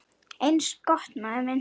Eins gott, maður minn